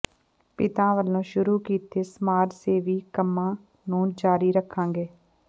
ਪਿਤਾ ਵਲੋਂ ਸ਼ੁਰੂ ਕੀਤੇ ਸਮਾਜ ਸੇਵੀ ਕੰਮਾਂ ਨੂੰ ਜਾਰੀ ਰੱਖਾਂਗੇ